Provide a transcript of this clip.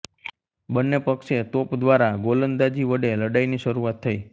બંને પક્ષે તોપ દ્વારા ગોલંદાજી વડે લડાઈની શરુઆત થઈ